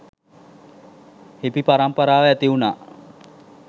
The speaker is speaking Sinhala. හිපි පරම්පරාව ඇතිවුණා.